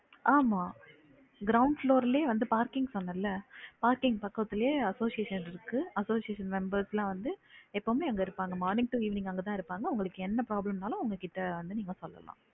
ஆமா ground floor லயே parking பன்னல்ல parking பக்கத்துலய association இருக்கு association members லாம் வந்து எப்பவுமே அங்க இருப்பாங்க morning to evening அங்க தான் இருப்பாங்க, உங்களுக்கு என்ன problem னாலும் அவங்ககிட்ட வந்து நீங்க சொல்லலாம்